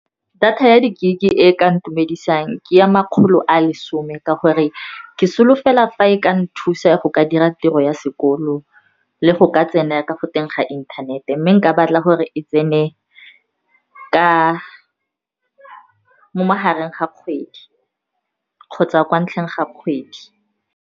Data ya di-gig e ka intumedisang ke ya makgolo a lesome, ka gore ke solofela fa e ka nthusa go ka dira tiro ya sekolo le go ka tsena ka go teng ga inthanete. Mme nka batla gore e tsene mo magareng ga kgwedi kgotsa kwa ntlheng ga kgwedi.